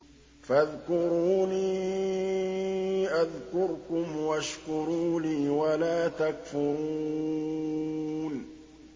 فَاذْكُرُونِي أَذْكُرْكُمْ وَاشْكُرُوا لِي وَلَا تَكْفُرُونِ